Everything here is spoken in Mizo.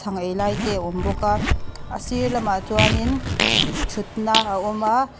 chhang ei lai te awm bawk a a sir lamah chuanin thutna a awm a.